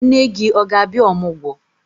Nne gị ọ ga-abịa ọmụgwọ?